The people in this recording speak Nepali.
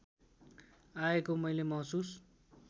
आएको मैले महसुस